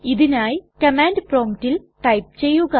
ഇതിനായി കമാൻഡ് promptൽ ടൈപ്പ് ചെയ്യുക